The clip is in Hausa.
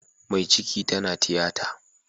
Mai ciki tana tiyata